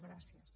gràcies